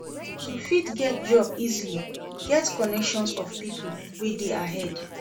To fit get job easily get connection of pipo wey de ahead